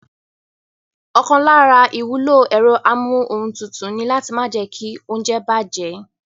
Ọ̀kan lára ìwúlò ẹ̀rọ amúohuntutù ni láti má jẹ́kí óúnjẹ bàjẹ́